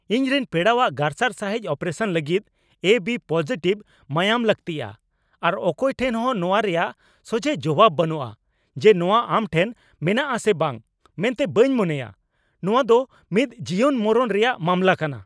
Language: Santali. ᱤᱧᱨᱮᱱ ᱯᱮᱲᱟᱣᱟᱜ ᱜᱟᱨᱥᱟᱨ ᱥᱟᱹᱦᱤᱡ ᱚᱯᱨᱮᱥᱟᱱ ᱞᱟᱹᱜᱤᱫ ᱮ ᱵᱤ ᱯᱚᱡᱤᱴᱤᱵᱷ ᱢᱟᱭᱟᱢ ᱞᱟᱹᱠᱛᱤᱭᱟ, ᱟᱨ ᱚᱠᱚᱭ ᱴᱷᱮᱱ ᱦᱚᱸ ᱱᱚᱣᱟ ᱨᱮᱭᱟᱜ ᱥᱚᱡᱷᱮ ᱡᱚᱵᱟᱵ ᱵᱟᱹᱱᱩᱜᱼᱟ ᱡᱮ ᱱᱚᱣᱟ ᱟᱢᱴᱷᱮᱱ ᱢᱮᱱᱟᱜᱼᱟ ᱥᱮ ᱵᱟᱝ ᱢᱮᱱᱛᱮ ᱵᱟᱹᱧ ᱢᱚᱱᱮᱭᱟ ᱾ ᱱᱚᱶᱟᱫᱚ ᱢᱤᱫ ᱡᱤᱭᱚᱱᱼᱢᱚᱨᱚᱱ ᱨᱮᱭᱟᱜ ᱢᱟᱢᱞᱟ ᱠᱟᱱᱟ ᱾